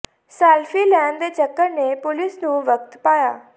selfie ਲੈਣ ਦੇ ਚੱਕਰ ਨੇ ਪੁਲਿਸ ਨੂੰ ਵਖਤ ਪਾਇਆ